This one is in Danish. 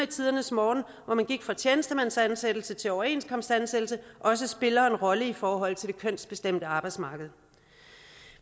tidernes morgen hvor man gik fra tjenestemandsansættelse til overenskomstansættelse også spiller en rolle i forhold til det kønsbestemte arbejdsmarked